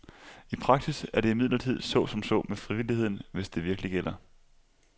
I praksis er det imidlertid så som så med frivilligheden, hvis det virkelig gælder.